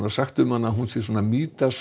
sagt um hana að hún sé